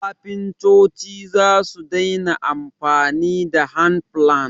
kafintoci zasu daina amfani da handplane